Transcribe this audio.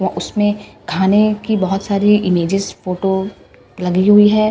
उसमें खाने की बहुत सारी इमजेस फोटो लगी हुई है औ--